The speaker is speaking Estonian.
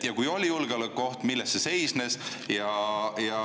Kui oli julgeolekuoht, siis milles see seisnes?